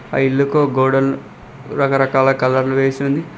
ఆ ఇల్లుకు గోడలు రకరకాల కలర్ వేసి ఉంది.